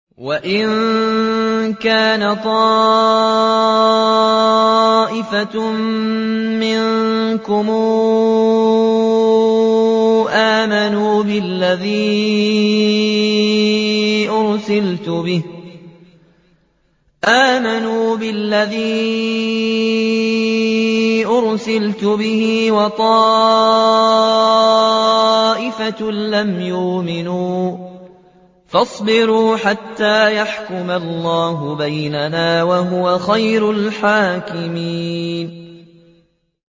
وَإِن كَانَ طَائِفَةٌ مِّنكُمْ آمَنُوا بِالَّذِي أُرْسِلْتُ بِهِ وَطَائِفَةٌ لَّمْ يُؤْمِنُوا فَاصْبِرُوا حَتَّىٰ يَحْكُمَ اللَّهُ بَيْنَنَا ۚ وَهُوَ خَيْرُ الْحَاكِمِينَ